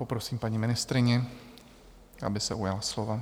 Poprosím paní ministryni, aby se ujala slova.